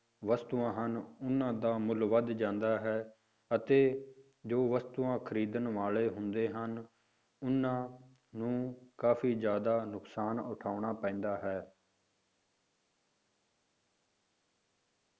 ਵਸਤੂਆਂ ਹਨ ਉਹਨਾਂ ਦਾ ਮੁੱਲ ਵੱਧ ਜਾਂਦਾ ਹੈ, ਅਤੇ ਜੋ ਵਸਤੂਆਂ ਖ਼ਰੀਦਣ ਵਾਲੇ ਹੁੰਦੇ ਹਨ, ਉਹਨਾਂ ਨੂੰ ਕਾਫ਼ੀ ਜ਼ਿਆਦਾ ਨੁਕਸਾਨ ਉਠਾਉਣਾ ਪੈਂਦਾ ਹੈ।